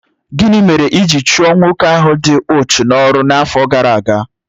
Gịnị mere e jiri chụọ nwoke ahụ dị úchú n'ọrụ n'afọ gara aga?